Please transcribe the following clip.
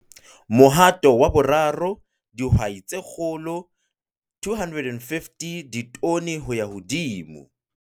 Mohato wa 3 - Dihwai tse kgolo - 250 ditone ho ya hodimo